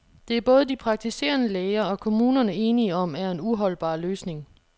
Det er både de praktiserende læger og kommunerne enige om er en uholdbar løsning.